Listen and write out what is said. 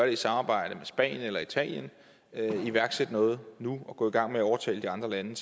i samarbejde med spanien eller italien iværksætte noget nu og gå i gang med at overtale de andre lande